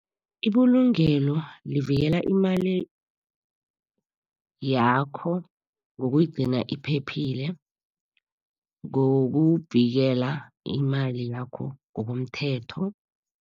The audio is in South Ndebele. Ibulungelo livikela imali yakho, ngokuyigcina iphephile, ngokuvikela imali yakho ngokomthetho.